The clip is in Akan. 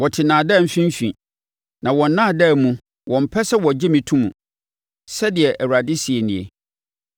Wote nnaadaa mfimfini; na wɔn nnaadaa mu wɔmpɛ sɛ wɔgye me to mu,” sɛdeɛ Awurade seɛ nie.